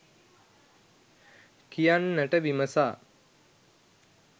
කියන්නට විමසා